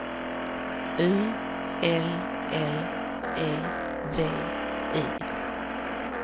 U L L E V I